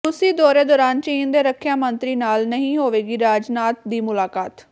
ਰੂਸੀ ਦੌਰੇ ਦੌਰਾਨ ਚੀਨ ਦੇ ਰੱਖਿਆ ਮੰਤਰੀ ਨਾਲ ਨਹੀਂ ਹੋਵੇਗੀ ਰਾਜਨਾਥ ਦੀ ਮੁਲਾਕਾਤ